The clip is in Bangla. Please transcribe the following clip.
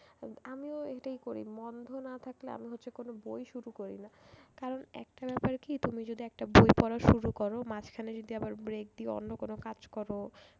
আমিও এটাই করি না থাকলে আমি হচ্ছে কোন বই শুরু করি না। কারণ একটা ব্যাপার কি তুমি যদি একটা বই পড়া শুরু করো মাঝখানে যদি আবার break দিয়ে অন্য কোন কাজ করো